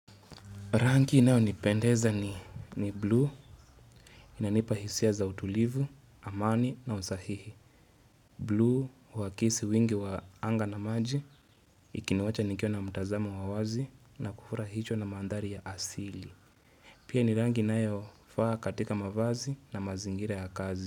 Rangi inaeo nipendeza ni blue inanipa hisia za utulivu, amani na usahihi. Blue wakisi wingi wa anga na maji ikiniwacha nikiwa na mtazamo wawazi na kufura hicho na mandari ya asili. Pia ni rangi naeo faa katika mavazi na mazingira ya kazi.